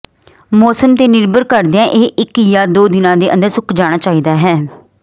ਮੌਸਮ ਤੇ ਨਿਰਭਰ ਕਰਦਿਆਂ ਇਹ ਇੱਕ ਜਾਂ ਦੋ ਦਿਨਾਂ ਦੇ ਅੰਦਰ ਸੁੱਕ ਜਾਣਾ ਚਾਹੀਦਾ ਹੈ